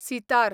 sitar